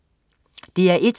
DR1: